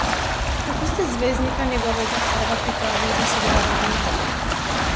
Kako ste zvezdnika njegovega kova pripravili do sodelovanja?